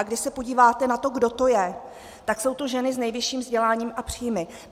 A když se podíváte na to, kdo to je, tak jsou to ženy s nejvyšším vzděláním a příjmy.